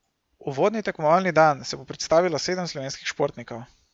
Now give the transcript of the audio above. Uvodni tekmovalni dan se bo predstavilo sedem slovenskih športnikov.